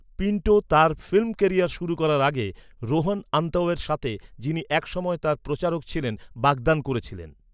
Pinto তার film career শুরু করার আগে, রোহান আন্তাওয়ের সাথে, যিনি এক সময়ে তার প্রচারক ছিলেন, বাগদান করেছিলেন, ।